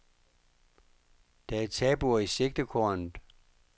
Der er tabuer i sigtekornet.